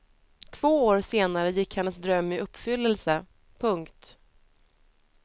Två år senare gick hennes dröm i uppfyllelse. punkt